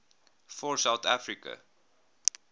for south africa